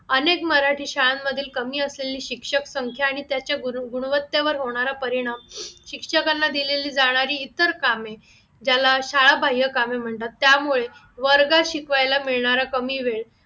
अनेक मराठी शाळांमधील कमी असलेली शिक्षक संख्या आणि त्याचे गुण गुणवत्तेवर होणार परिणाम शिक्षकांना दिलेली जाणारी इतर कामे ज्याला शाळा बाह्य कामे म्हणतात त्यामुळे वर्गात शिकवायला मिळणारा कमी वेळ मराठी